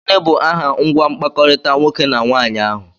Gịnị bụ aha ngwa mkpakọrịta nwoke na nwaanyị ahụ?